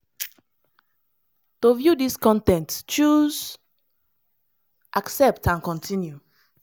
to view dis con ten t choose 'accept and continue'.